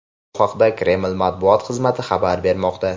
Bu haqda Kreml matbuot xizmati xabar bermoqda.